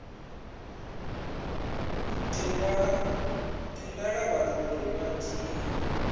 tendela vhathu uri vha dzhie